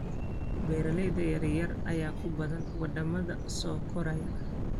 Beeralayda yar yar ayaa ku badan wadamada soo koraya.